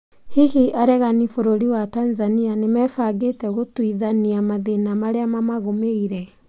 Hihi aregani bũrũri wa Tanzania nĩmebangĩte gũtuithania mathina marĩa mamagũmĩire